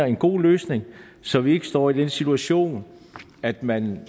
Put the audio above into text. en god løsning så vi ikke står i den situation at man